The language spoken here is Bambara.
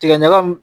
Tigɛ ɲaga m